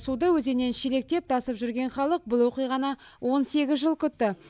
суды өзеннен шелектеп тасып жүрген халық бұл оқиғаны он сегіз жыл күтті